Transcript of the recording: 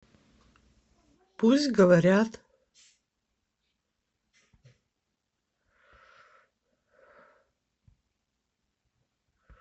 пусть говорят